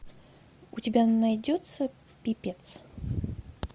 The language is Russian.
у тебя найдется пипец